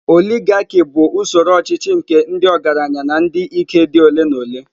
Oligarkị bụ usoro ọchịchị nke ndị ọgaranya na ndị ike dị ole na ole.